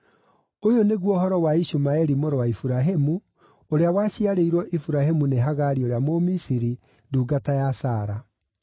Ũyũ nĩguo ũhoro wa Ishumaeli mũrũ wa Iburahĩmu, ũrĩa waciarĩirwo Iburahĩmu nĩ Hagari ũrĩa Mũmisiri, ndungata ya Sara.